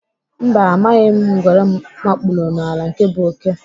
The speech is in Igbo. Mba, amaghị ngwere mkpụrụ n'ala nke bụ oké.